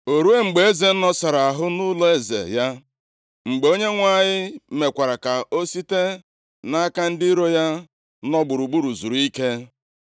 O ruo mgbe eze nọsara ahụ nʼụlọeze ya, mgbe Onyenwe anyị mekwara ka o site nʼaka ndị iro ya nọ gburugburu zuru ike,